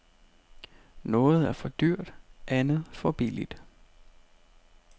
Noget er for dyrt, andet for billigt.